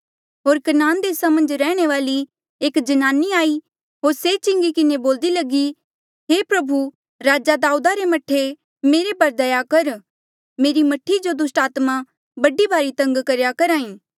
होर कनान देसा मन्झ रैहणे वाली एक जन्नानी आई होर से चिंगी किन्हें बोल्दी लगी हे प्रभु राजे दाऊदा रे मह्ठे मेरे पर दया कर मेरी मह्ठी जो दुस्टात्मा बड़ी भारी तंग करेया करहा ई